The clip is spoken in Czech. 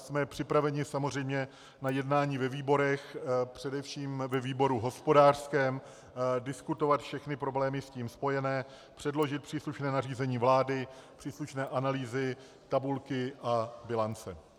Jsme připraveni samozřejmě na jednání ve výborech, především ve výboru hospodářském, diskutovat všechny problémy s tím spojené, předložit příslušné nařízení vlády, příslušné analýzy, tabulky a bilance.